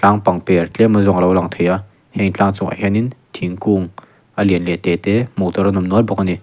a bang te ah tlem a zawng alo lang thei a heng tlang chungah hianin thingkung a lian leh a te te hmuh tur an awm nual bawk ani.